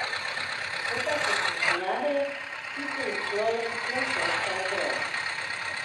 To pa so skušnjave, ki se jim človek le stežka upre.